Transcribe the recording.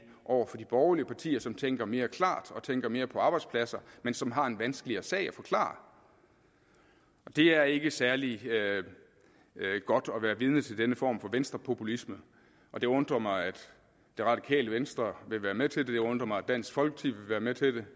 over for de borgerlige partier som tænker mere klart og tænker mere på arbejdspladser men som har en vanskeligere sag at forklare det er ikke særlig godt at være vidne til denne form for venstrepopulisme og det undrer mig at det radikale venstre vil være med til det det undrer mig at dansk folkeparti vil være med til det